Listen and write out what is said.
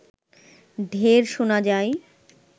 ঢেড় শোনা যায়